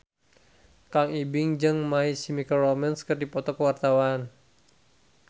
Kang Ibing jeung My Chemical Romance keur dipoto ku wartawan